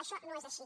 això no és així